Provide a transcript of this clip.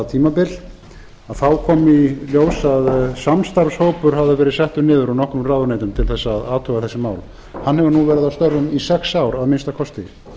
kom það í ljós að samstarfshópur hafði verið settur niður úr nokkrum ráðuneytum til þess að athuga þessi mál hann hefur nú verið að störfum í sex ár að minnsta kosti